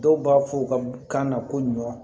Dɔw b'a fɔ u ka kan na ko ɲɔ